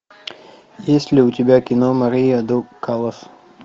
есть ли у тебя кино мария до каллас